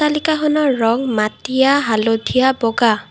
অট্টালিকাখনৰ ৰং মাটীয়া হালধীয়া বগা।